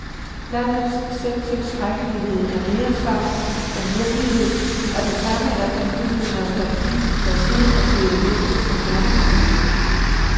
Landets selvtilstrækkelighed er mere sagn end virkelighed, og det samme er den gyldne nostalgi, der siden er blevet hægtet på kernefamilien.